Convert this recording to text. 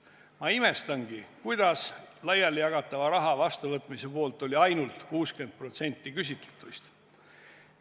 Ma imestangi, kuidas laialijagatava raha vastuvõtmise poolt oli ainult 60% küsitletuist.